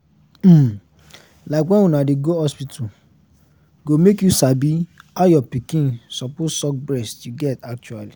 um like when una dey go hospital go make you sabi how your pikin suppose suck breast you get actually